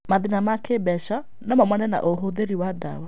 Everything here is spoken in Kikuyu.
Mathĩna ma kĩmbeca no maumane na ũũthĩri wa ndawa.